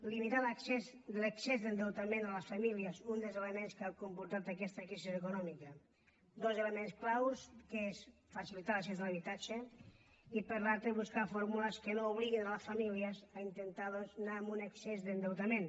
limitar l’excés d’endeutament a les famílies un dels elements que ha comportat aquesta crisi econòmica dos elements clau que són facilitar l’accés a l’habitatge i per l’altre buscar fórmules que no obliguin les famílies a intentar doncs anar a un excés d’endeutament